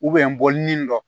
n bɔlini dɔ